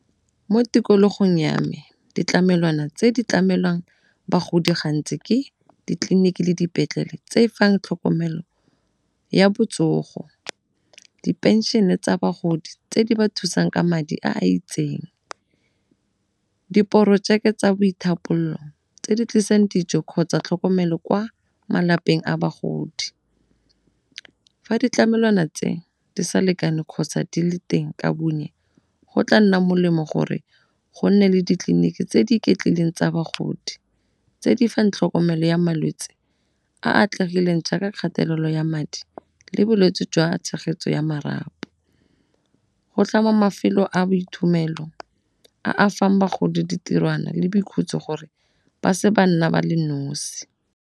Mo tikologong ya me ditlamelwana tse di tlamelang bagodi gantsi ke ditleliniki le dipetlele tse fang tlhokomelo ya botsogo. Diphenšene tsa bagodi tse di ba thusang ka madi a a itseng. Diporojeke tsa boithapololo tse di tlisang dijo kgotsa tlhokomelo kwa malapeng a bagodi, fa ditlamelwana tse di sa lekane kgotsa di le teng ka bonnye go tla nna molemo gore go nne le ditleliniki tse di iketlileng tsa bagodi tse di fang tlhokomelo ya malwetse a atlegileng jaaka kgatelelo ya madi le bolwetse jwa tshegetso ya marapo. Go tlama mafelo a boithomelo a a fang bagodi ditirwana le boikhutso gore ba se ba nna ba le nosi.